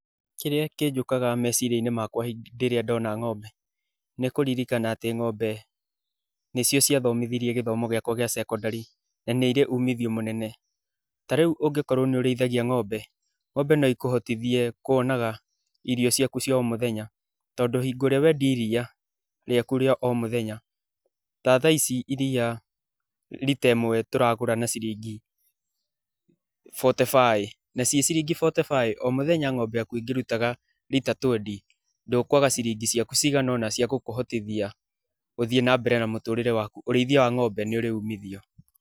kĩrĩa kĩnjũkaga meciria-inĩ makwa hĩndĩ ĩrĩa ndona ng'ombe, nĩ kũririkana atĩ ng'ombe, nĩcio cia thomithirie gĩthomo gĩakwa gĩa cekondarĩ na nĩ irĩ umithio mũnene. Tarĩu ũngĩkorũo nĩ ũrĩithagia ng'ombe, ng'ombe no ikũhotithie kũonaga irio ciaku cia o mũthenya. Tondũ hingo ĩrĩa wendia iria rĩaku rĩa o mũthenya, ta thaa ici iria rita ĩmwe tũragũra na ciringi bote baĩ, na ciĩ ciringi bote baĩ, o mũthenya ng'ombe yaku ĩngĩrutaga rita twendi ndũkwaga ciringi ciaku ciganona cia gũkũhotithia gũthiĩ na mbere na mũtũrĩre waku. Ũrĩithia wa ng'ombe nĩ ũrĩ umithio.